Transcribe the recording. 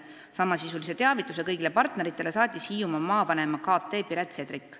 Samasisulise teavituse kõigile partneritele saatis Hiiumaa maavanema kt Piret Sedrik.